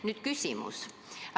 Nüüd küsimus.